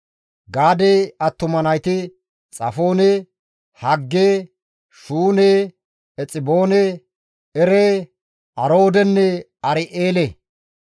Gaade attuma nayti Xafoone, Hagge, Shuune, Exiboone, Ere, Aroodenne Ar7eele.